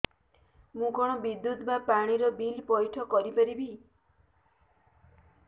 ମୁ କଣ ବିଦ୍ୟୁତ ବା ପାଣି ର ବିଲ ପଇଠ କରି ପାରିବି